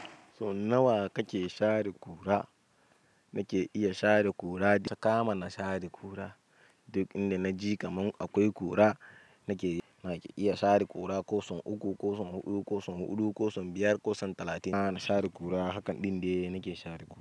So nawa kake share ƙura? Nake iya share ƙura, saka ma na share ƙura. Duk inda na ji kaman akwai ƙura, nake iya share ƙura, ko son uku, ko son huɗu, ko son huɗu, ko son biyar, ko son talatin. Na share ƙura, hakan ɗin de nake share ƙura.